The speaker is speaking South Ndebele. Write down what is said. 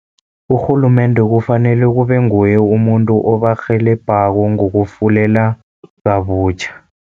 Urhulumende kufanele kube nguye umuntu obarhelebhako, ngokufulela kabutjha.